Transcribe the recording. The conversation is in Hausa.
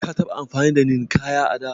Ka taɓa amfani da Ninkaya a da?